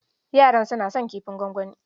Yara suna son kifin gwangwani.